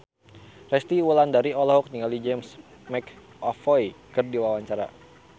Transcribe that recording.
Resty Wulandari olohok ningali James McAvoy keur diwawancara